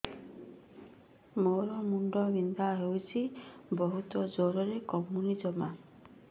ମୋର ମୁଣ୍ଡ ବିନ୍ଧା ହଉଛି ବହୁତ ଜୋରରେ କମୁନି ଜମା